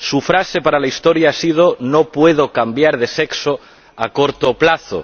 Su frase para la historia ha sido No puedo cambiar de sexo a corto plazo.